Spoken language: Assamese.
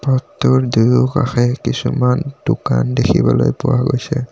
পথটোৰ দুয়োকাষে কিছুমান দোকান দেখিবলৈ পোৱা গৈছে।